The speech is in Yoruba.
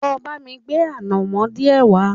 Lọ bá mi gbé ànàmọ́ díẹ̀ wá